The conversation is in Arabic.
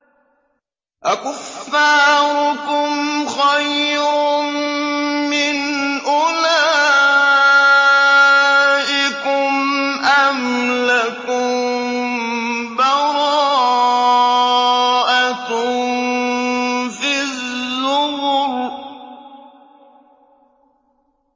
أَكُفَّارُكُمْ خَيْرٌ مِّنْ أُولَٰئِكُمْ أَمْ لَكُم بَرَاءَةٌ فِي الزُّبُرِ